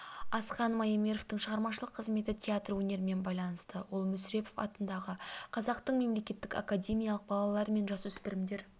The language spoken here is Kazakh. асхат маемировтың шығармашылық қызметі театр өнерімен байланысты ол мүсірепов атындағы қазақтың мемлекеттік академиялық балалар мен жасөспірімдер